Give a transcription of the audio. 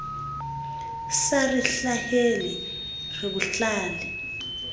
sa re hlahele re bohlale